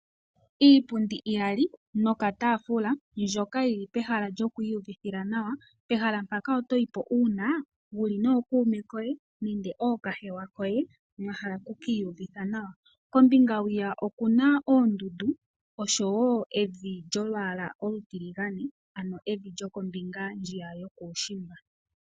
Iipundi iyali nokataafula, mbyoka yi li pehala lyokwiiyuvithila nawa. Pehala mpaka oto yi po uuna wu li nookuume koye nenge ookahewa koye ,mwa hala oku ki iyuvitha nawa. Kombinga hwiya oku na oondundu oshowo evi lyolwaala olutiligane, ano evi lyokombinga yo kuushimba.